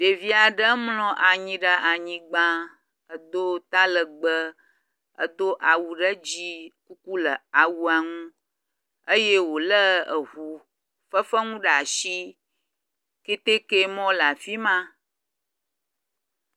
Ɖeviaɖe mlɔ anyi ɖe anyigba edo talegbe edo awu ɖe dzi kuku le awua ŋu eye wole eʋu fefeŋu ɖeasi kɛtɛkɛ mɔ le afima